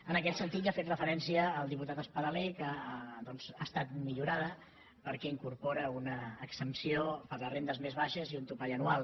en aquest sentit hi ha fet referència el diputat espadaler que doncs ha estat millorada perquè incorpora una exempció per a les rendes més baixes i un topall anual